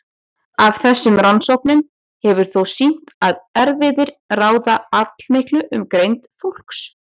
Af þessum rannsóknum hefur þótt sýnt að erfðir ráða allmiklu um greind fólks.